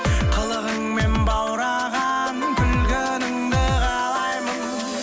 қылығыңмен баураған күлгеніңді қалаймын